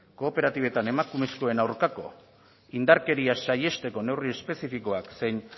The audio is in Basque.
kooperatibetan emakumezkoen aurkako indarkeria saihesteko neurri espezifikoak zein